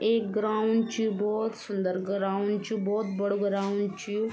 एक ग्राउंड च भोत सुन्दर ग्राउंड च भोत बड़ू ग्राउंड च।